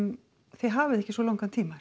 þið hafið ekki svo langan tíma